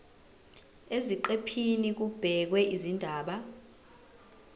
eziqephini kubhekwe izindaba